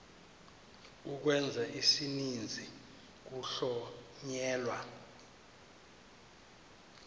ukwenza isininzi kuhlonyelwa